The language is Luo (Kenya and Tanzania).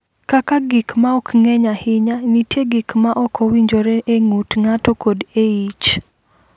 Kaka gik ma ok ng’eny ahinya, nitie gik ma ok owinjore e ng’ut ng’ato kod e ich.